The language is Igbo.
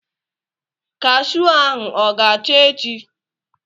Kashuu ahụ ọ ga-acha echi?